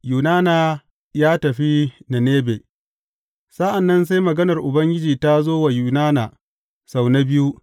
Yunana ya tafi Ninebe Sa’an nan sai maganar Ubangiji ta zo wa Yunana sau na biyu.